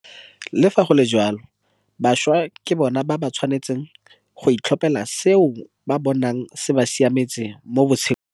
Le fa go le jalo, bašwa ke bona ba ba tshwanetseng go itlhophela seo ba bonang se ba siametse mo botshelong.